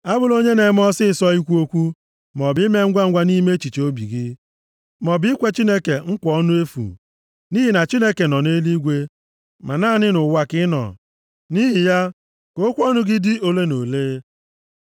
Abụla onye na-eme ọsịịsọ ikwu okwu maọbụ ime ngwangwa nʼime echiche obi gị, maọbụ ikwe Chineke nkwa ọnụ efu. + 5:2 \+xt Ilu 20:25\+xt* Nʼihi na Chineke nọ nʼeluigwe ma naanị nʼụwa ka ị nọ, nʼihi ya ka okwu ọnụ gị dị ole na ole.